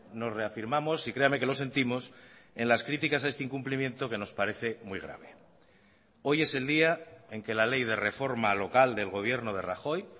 nos reafirmamos y creame que lo sentimos en las críticas a este incumplimiento que nos parece muy grave hoy es el día en que la ley de reforma local del gobierno de rajoy